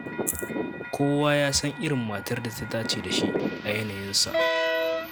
Kowa ya san irin matar da ta dace da shi a yanayinsa.